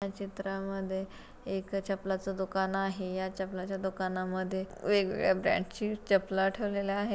या चित्रा मध्ये एक चपल्याचा दुकान आहे. या चपल्याच्या दुकानामध्ये वेगवेगळ्या ब्रॅंड ची चप्पला ठेवलेल्या आहे.